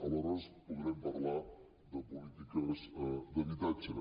ales·hores podrem parlar de polítiques d’habitatge